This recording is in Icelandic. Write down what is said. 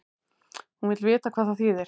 Hún vill vita hvað það þýðir.